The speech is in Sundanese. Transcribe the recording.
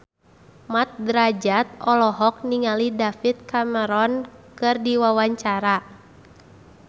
Mat Drajat olohok ningali David Cameron keur diwawancara